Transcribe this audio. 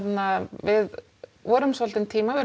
við vorum svolítinn tíma við